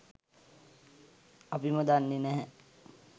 අපිම දන්නේ නැහැ